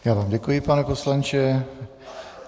Já vám děkuji, pane poslanče.